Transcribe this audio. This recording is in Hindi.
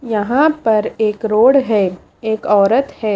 यहां पर एक रोड है एक औरत है।